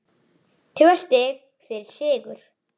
Tvö stig fyrir sigur